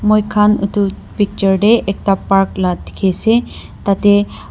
Moikha etu picture tey ekta park la dekhi ase tate--